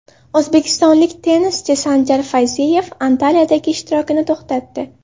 O‘zbekistonlik tennischi Sanjar Fayziyev Antaliyadagi ishtirokini to‘xtatdi.